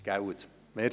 Nicht wahr?